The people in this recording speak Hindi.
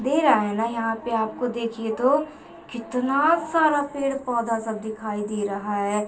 दे रहा है ना यहां पे आपको देखिए तो कितना सारा पेड़-पौधा सब दिखाई दे रहा है !